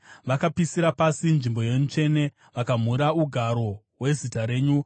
Vakapisira pasi nzvimbo yenyu tsvene; vakamhura ugaro hweZita renyu.